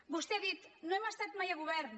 vostè ha dit no hem estat mai a govern